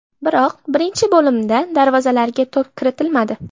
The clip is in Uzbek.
Biroq birinchi bo‘limda darvozalarga to‘p kiritilmadi.